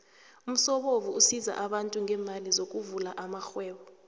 umsobomvu usiza abantu ngeemali sokuvula amarhwebo